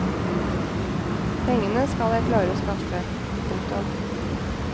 Pengene skal jeg klare å skaffe. punktum